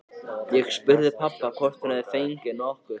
Ég spurði pabba hvort hún hefði nokkuð hringt.